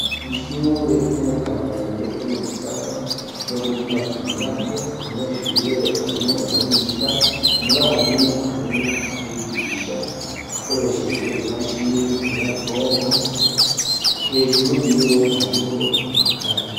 ishure ryo mu kamenge ryo mu gisata co gutumatumanako abanyeshure barimwo bariga umwarimu arimwo arabigisha akoresheje imashini nyabwonko hejuru yiwe hariho amakaye.